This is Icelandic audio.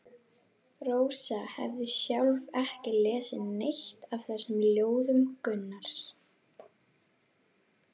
Rósa hafði sjálf ekki lesið neitt af þessum ljóðum Gunnars.